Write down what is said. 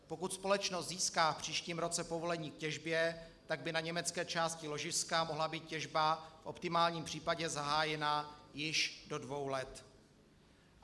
Pokud společnost získá v příštím roce povolení k těžbě, tak by na německé části ložiska mohla být těžba v optimálním případě zahájena již do dvou let.